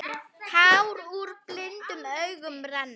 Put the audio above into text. Tár úr blindum augum renna.